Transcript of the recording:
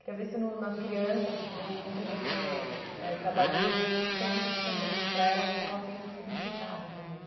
Queria ver se no nas crianças que vo com quem você eh trabalha hoje em dia, você sente isso também, se para elas a escola tem esse significado também.